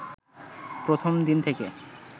প্রথম দিন থেকে